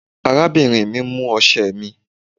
Arábìnrin mi mú ọ̀sẹ̀ mí.